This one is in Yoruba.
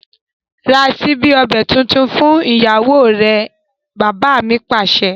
Ra síbi ọbẹ̀ tuntun fún ìyàwó rẹ! Bàbá mi Pàṣẹ.